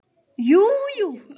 Jú jú.